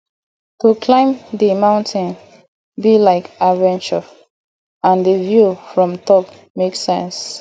to climb di mountain be like adventure and di view from top make sense